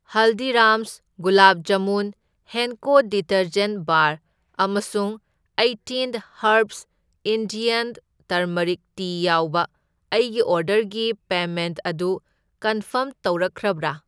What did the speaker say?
ꯍꯜꯗꯤꯔꯥꯝꯁ gulab jamun, Henko detergent bar ꯑꯃꯁꯨꯡ eighteen herbs Indian turmeric tea ꯌꯥꯎꯕ ꯑꯩꯒꯤ ꯑꯣꯔꯗꯔꯒꯤ ꯄꯦꯃꯦꯟꯠ ꯑꯗꯨ ꯀꯟꯐꯥꯔꯝ ꯇꯧꯔꯛꯈ꯭ꯔꯕ꯭ꯔꯥ?